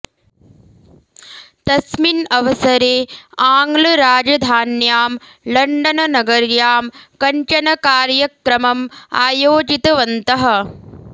तस्मिन् अवसरे आङ्ग्लराजधान्यां लण्डन् नगर्याम् कञ्चन कार्यक्रमम् आयोजितवन्तः